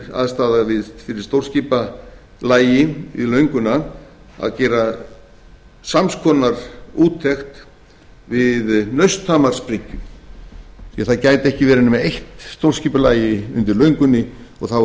þyrfti um leið ef könnuð er aðstaða við stórskipalægi við lönguna að gera sams konar úttekt við nausthamarsbryggju því það gæti ekki verið nema eitt stórskipalægi undir löngunni og þá verður hitt að